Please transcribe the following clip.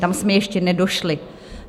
Tam jsme ještě nedošli.